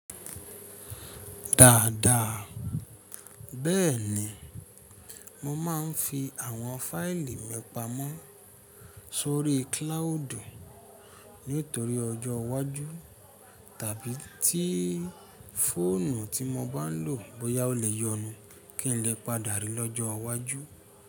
Dáadáa. Bẹ́ẹ̀ni, mo máa ń fi àwọn fáìlì mi pamọ́ sórí cloud nítorí ọjọ́ iwájú tàbí tí i fóònù tí mo bá ń lò bóyá ó lè yọnu kí n lè padà rí lọ́jọ́ iwájú.